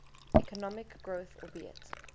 economic growth albeit